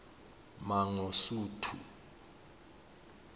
mangosuthu